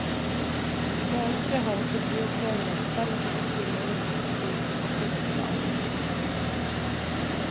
Det ønsket har også byrådslederen, selv om han ikke vil love noen ferdigstillelse av museet.